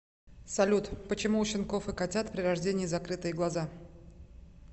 салют почему у щенков и котят при рождении закрытые глаза